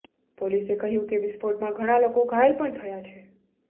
પોલીસે કહ્યું કે વિસ્ફોટમાં ઘણા લોકો ઘાયલ પણ થયા છે